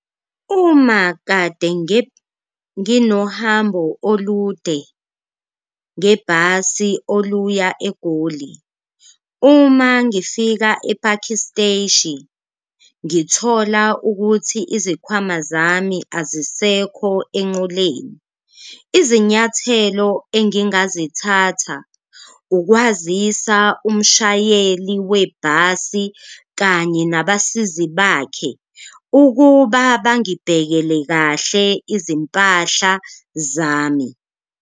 Uma kade nginohambo olude ngebhasi oluya eGoli uma ngifika e-Phakhi Steshi ngithola ukuthi izikhwama zami azisekho enqoleni, izinyathelo engingazithatha ukwazisa umshayeli webhasi kanye nabasizi bakhe ukuba bangibhekele kahle izimpahla zami.